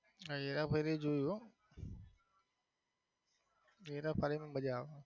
હા હેરાફેરી જોયું હો હેરાફેરી માં મજા આવે.